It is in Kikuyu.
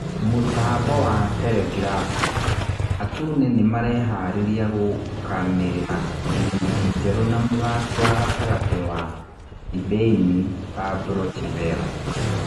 (Mũtambo wa Terengirabu) Atune nĩmareharĩria gũkanĩrĩra ngirimiti njerũ na mũthaki wa gatagatĩ wa Thibĩin Pabro Chivera.